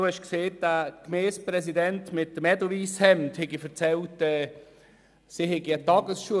Sie haben gesagt, ein Gemeindepräsident mit Edelweisshemd habe erzählt, sie hätten eine Tagesschule.